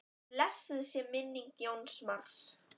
Blessuð sé minning Jóns Mars.